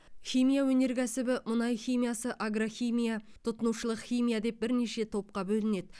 химия өнеркәібі мұнай химиясы агрохимия тұтынушылық химия деп бірнеше топқа бөлінеді